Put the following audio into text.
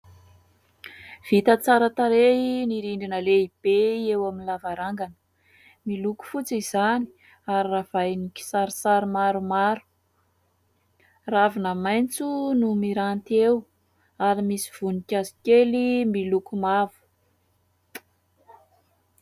Vita tsara tarehy ny rindrina lehibe eo amin'ny lavarangana, miloko fotsy izany ary ravahin'ny kisarisary maromaro, ravina maitso no miranty eo ary misy voninkazo kely miloko mavo.